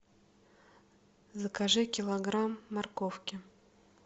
закажи килограмм морковки